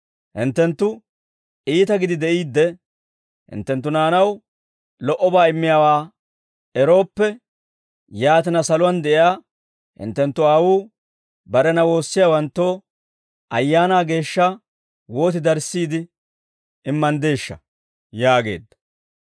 Hinttenttu iita gidi de'iidde hinttenttu naanaw lo"obaa immiyaawaa erooppe, yaatina saluwaan de'iyaa hinttenttu aawuu barena woossiyaawanttoo Ayaanaa Geeshsha wooti darissiide immanddeeshsha?» yaageedda.